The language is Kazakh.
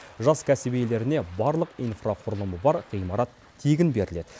жас кәсіп иелеріне барлық инфрақұлымы бар ғимарат тегін беріледі